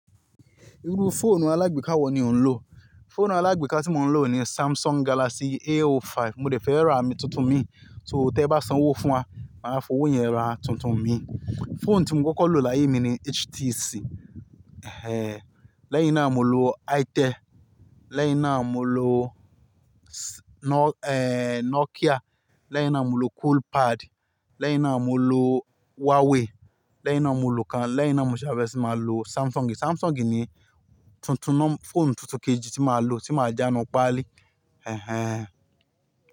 Irú fóònù alágbèéká wo ni o ń lò? Fóònù alágbèéká tí mo ń lò ni Samsung Galaxy. A05. Mo lè fẹ́ ra àmì tuntun mi, tẹ́ẹ bá sanwó fún wa, máa fowó yẹn ra tuntun mi. Fóònù tí mo kọ́kọ́ lò láyé mi ni HTC. Ẹhẹ́n, lẹ́yìn náà mo lo Itel, lẹ́yìn náà mo lo s-- eh, Nokia, lẹ́yìn náà mo lo Coolpad, lẹ́yìn náà mo lo Huawei, lẹ́yìn náà mo lo kan, lẹ́yìn náà mo sábẹ́sì máa lo Samsung yìí. Samsung yìí ni tuntun, fóònù tuntun kejì tí mo máa lò tí màá já nínú pálí. Ẹhẹ́n.